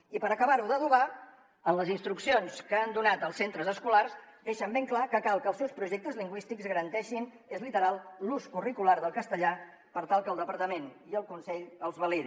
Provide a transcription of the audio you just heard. i per acabar ho d’adobar en les instruccions que han donat als centres escolars deixen ben clar que cal que els seus projectes lingüístics garanteixin és literal l’ús curricular del castellà per tal que el departament i el consell els validi